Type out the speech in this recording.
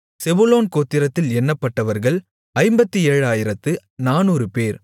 செபுலோன் கோத்திரத்தில் எண்ணப்பட்டவர்கள் 57400 பேர்